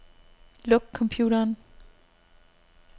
Luk computeren.